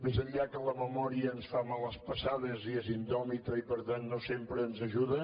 més enllà que la memòria ens fa males passades i és indòmita i per tant no sempre ens ajuda